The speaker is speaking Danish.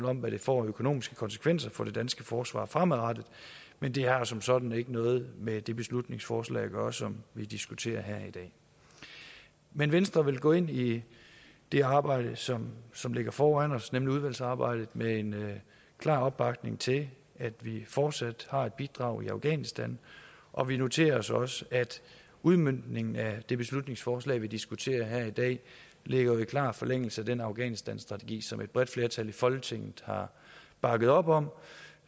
om hvad det får af økonomiske konsekvenser for det danske forsvar fremadrettet men det har som sådan ikke noget med det beslutningsforslag at gøre som vi diskuterer her i dag men venstre vil gå ind i det arbejde som som ligger foran os nemlig udvalgsarbejdet med en klar opbakning til at vi fortsat har et bidrag i afghanistan og vi noterer os også at udmøntningen af det beslutningsforslag vi diskuterer her i dag ligger i klar forlængelse af den afghanistanstrategi som et bredt flertal i folketinget har bakket op om